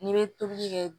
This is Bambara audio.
N'i bɛ tobili kɛ